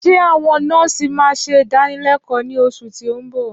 Ṣé àwọn nọ́ọ̀sì ma ṣe ìdánilékòó ní oṣù tí o nbọ